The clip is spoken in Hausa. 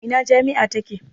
Ina jami'a take?